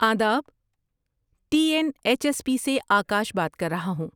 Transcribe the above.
آداب! T N H S P سے آکاش بات کر رہا ہوں۔